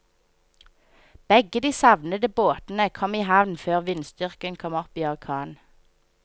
Begge de savnede båtene kom i havn før vindstyrken kom opp i orkan.